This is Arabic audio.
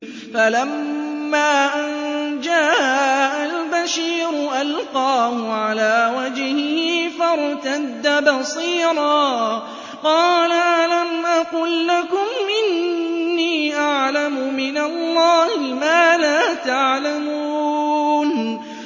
فَلَمَّا أَن جَاءَ الْبَشِيرُ أَلْقَاهُ عَلَىٰ وَجْهِهِ فَارْتَدَّ بَصِيرًا ۖ قَالَ أَلَمْ أَقُل لَّكُمْ إِنِّي أَعْلَمُ مِنَ اللَّهِ مَا لَا تَعْلَمُونَ